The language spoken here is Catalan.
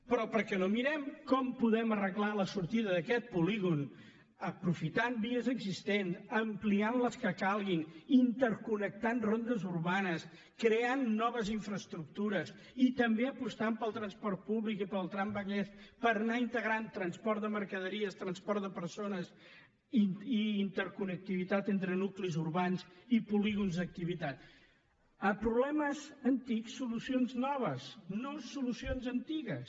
però per què no mirem com podem arreglar la sortida d’aquest polígon aprofitant vies existents ampliant les que calguin interconnectant rondes urbanes creant noves infraestructures i també apostant pel transport públic i pel tramvallès per anar integrant transport de mercaderies transport de persones i interconnectivitat entre nuclis urbans i polígons d’activitat a problemes antics solucions noves no solucions antigues